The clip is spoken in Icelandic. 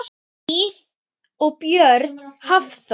Hlíf og Björn Hafþór.